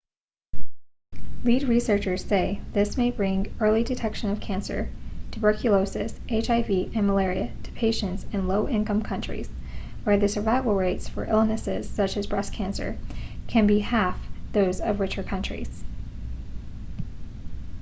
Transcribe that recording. lead researchers say this may bring early detection of cancer tuberculosis hiv and malaria to patients in low-income countries where the survival rates for illnesses such as breast cancer can be half those of richer countries